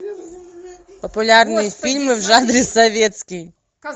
популярные фильмы в жанре советский